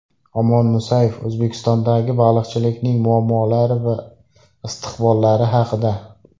Omon Musayev O‘zbekistondagi baliqchilikning muammolari va istiqbollari haqida.